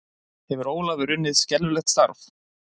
Hefur Ólafur unnið skelfilegt starf?